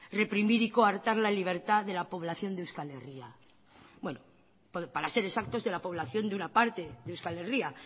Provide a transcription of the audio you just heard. reprimir y coartar la libertad de la población de euskal herria para ser exactos de la población de una parte de euskal herria